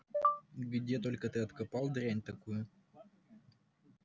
где только ты откопал дрянь такую